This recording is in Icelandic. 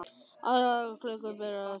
Allar tiltækar klukkur byrja að tifa.